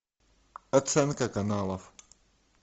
оценка каналов